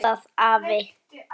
Hvað hugsar þú?